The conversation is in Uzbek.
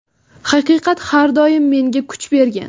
Haqiqat har doim menga kuch bergan.